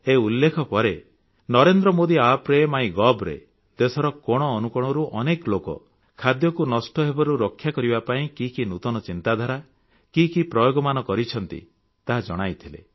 ଏହି ଉଲ୍ଲେଖ ପରେ ନରେନ୍ଦ୍ର ମୋଦି App ରେ ମାଇ ଗୋଭ୍ ରେ ଦେଶର କୋଣ ଅନୁକୋଣରୁ ଅନେକ ଲୋକ ଖାଦ୍ୟକୁ ନଷ୍ଟ ହେବାରୁ ରକ୍ଷା କରିବା ପାଇଁ କି କି ନୂତନ ଚିନ୍ତାଧାରା କି କି ପ୍ରୟୋଗମାନ କରିଛନ୍ତି ତାହା ଜଣାଇଥିଲେ